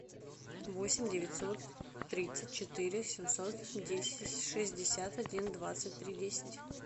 восемь девятьсот тридцать четыре семьсот десять шестьдесят один двадцать три десять